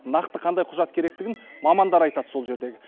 нақты қандай құжат керектігін мамандар айтады сол жердегі